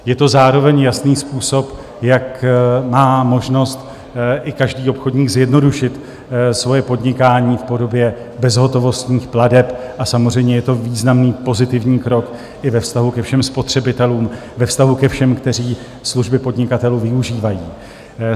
Je to zároveň jasný způsob, jak má možnost i každý obchodník zjednodušit svoje podnikání v podobě bezhotovostních plateb, a samozřejmě je to významný pozitivní krok i ve vztahu ke všem spotřebitelům, ve vztahu ke všem, kteří služby podnikatelů využívají.